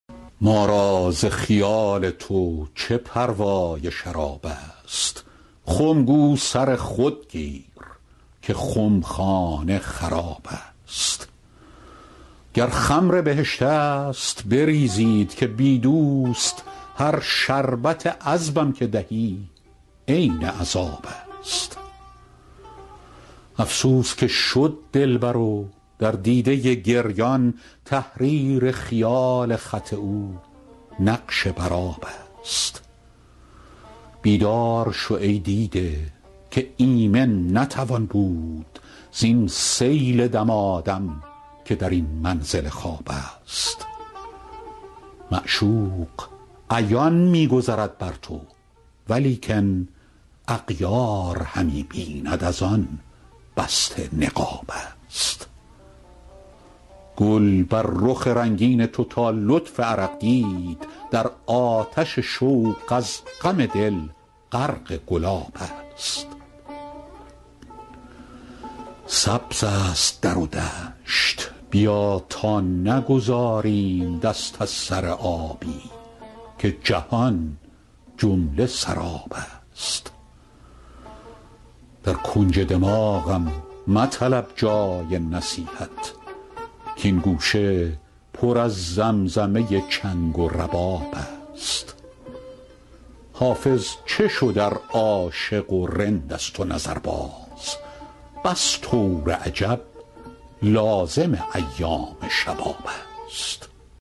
ما را ز خیال تو چه پروای شراب است خم گو سر خود گیر که خمخانه خراب است گر خمر بهشت است بریزید که بی دوست هر شربت عذبم که دهی عین عذاب است افسوس که شد دلبر و در دیده گریان تحریر خیال خط او نقش بر آب است بیدار شو ای دیده که ایمن نتوان بود زین سیل دمادم که در این منزل خواب است معشوق عیان می گذرد بر تو ولیکن اغیار همی بیند از آن بسته نقاب است گل بر رخ رنگین تو تا لطف عرق دید در آتش شوق از غم دل غرق گلاب است سبز است در و دشت بیا تا نگذاریم دست از سر آبی که جهان جمله سراب است در کنج دماغم مطلب جای نصیحت کـ این گوشه پر از زمزمه چنگ و رباب است حافظ چه شد ار عاشق و رند است و نظرباز بس طور عجب لازم ایام شباب است